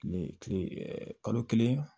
Kile kile kalo kelen